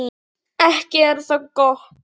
Ekki er það gott!